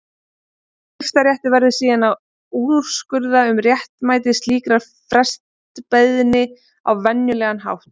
Skiptaréttur verður síðan að úrskurða um réttmæti slíkrar frestbeiðni á venjulegan hátt.